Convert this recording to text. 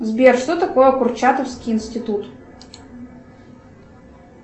сбер что такое курчатовский институт